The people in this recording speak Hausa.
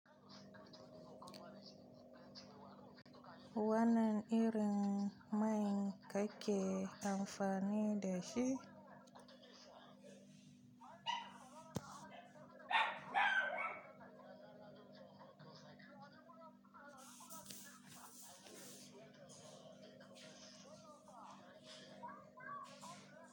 Wannan irin mai kake amfani da shi?